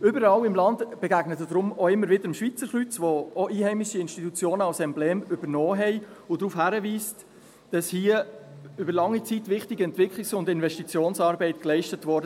Überall im Land begegnen Sie daher auch immer wieder dem Schweizer Kreuz, das auch einheimische Institutionen als Emblem übernommen haben, das darauf hinweist, dass dort über lange Zeit wichtige Entwicklungs- und Investitionsarbeit geleistet wurde.